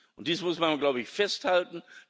Und dies muss man, glaube ich, festhalten.